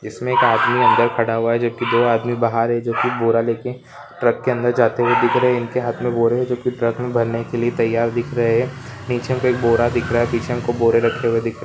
इसमें एक आदमी अंदर खड़ा हुआ है जो कि दो आदमी बाहर है जो की बोरा लेकर ट्रक के अंदर जाते हुए दिख रहे है इनके हाथ में बोरे है जो कि ट्रक में भरने के लिए तैयार दिख रहे है नीचे में एक बोरा दिख रहा है पीछे में खूब बोरे रखे हुए दिख --